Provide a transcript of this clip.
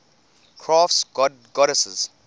crafts goddesses